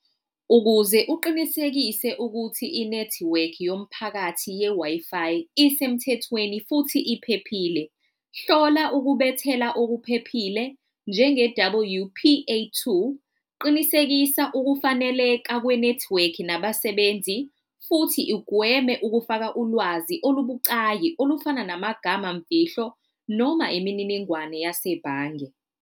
Ukuze uqinisekise ukuthi inethiwekhi yomphakathi ye-Wi-Fi isemthethweni futhi iphephile, hlola ukubethela okuphephile njenge-W_P_A two, qinisekisa ukufaneleka kwe-network nabasebenzi futhi ugweme ukufaka ulwazi olubucayi olufana namagamamfihlo noma imininingwane yasebhange.